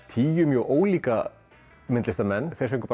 tíu mjög ólíka myndlistarmenn þeir fengu